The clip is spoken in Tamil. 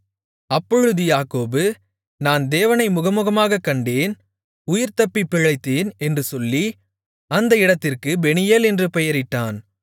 அப்பொழுது யாக்கோபு நான் தேவனை முகமுகமாகக் கண்டேன் உயிர் தப்பிப் பிழைத்தேன் என்று சொல்லி அந்த இடத்திற்குப் பெனியேல் என்று பெயரிட்டான்